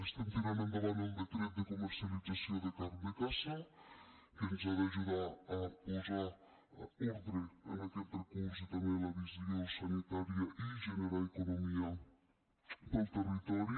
estem tirant endavant el decret de comercialització de carn de caça que ens ha d’ajudar a posar ordre en aquest recurs i també en la visió sanitària i generar economia per al territori